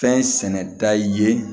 Fɛn sɛnɛn da ye